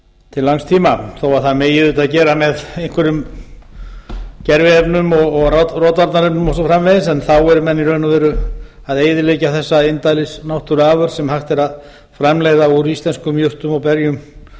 til langs tíma þó að það megi auðvitap gera með einhverjum gerviefnum og rotvarnarefnum og svo framvegis en þá eru menn í raun og veru að eyðileggja þessa indælis náttúruafurð sem hægt er að framleiða úr íslenskum jurtum og berjum